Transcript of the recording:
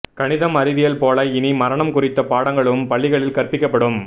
கணிதம் அறிவியல் போல இனி மரணம் குறித்த பாடங்களும் பள்ளிகளில் கற்பிக்கப்படும்